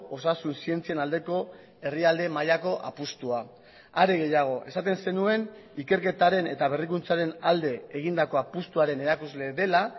osasun zientzien aldeko herrialde mailako apustua are gehiago esaten zenuen ikerketaren eta berrikuntzaren alde egindako apustuaren erakusle dela